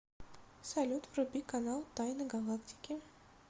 салют вруби канал тайны галактики